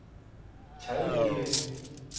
talrige